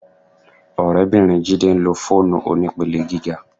Ọ̀rẹ́bìnrin Jídé ń lo fóònù onípele gíga